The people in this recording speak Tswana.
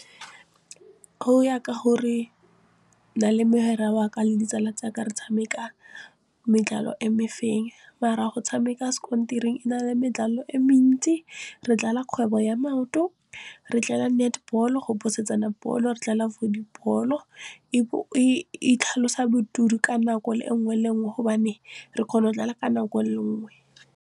Go ya ka gore nna le mogwera waka le ditsala tsaka re tshameka e mefeng mara go tshameka e na le e mentsi re kgwebo ya maoto. Re netball-o go phosetsana bolo, re volleyball-o e itlhalosa ka nako le nngwe le nngwe gobane re kgona go ka nako le nngwe le nngwe.